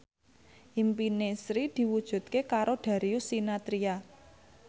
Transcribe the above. impine Sri diwujudke karo Darius Sinathrya